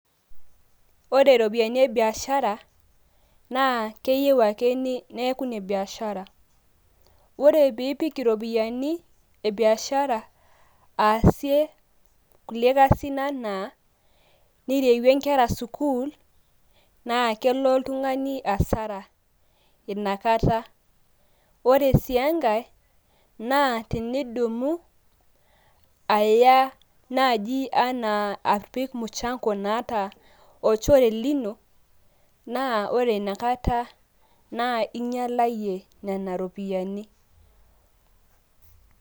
Ore ropiani e biashara naaa keyeu ake neeku ne biashara. Ore piipik iropiani e biashara aasie kulie kasin ena nirewue nkera sukuul naa kelo oltugani asara inakata. Ore sii enkae naa tenidumu aya naaji anaa apik muchango naata olchore lino naa ore ina kata naa inyalayie nena ropiani.